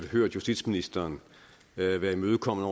hørt justitsministeren være være imødekommende